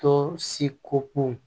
Tɔ si ko kun